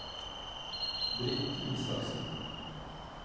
Britt Isaksen